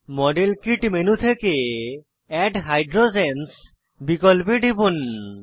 model kit menu থেকে add hydrogens বিকল্পে টিপুন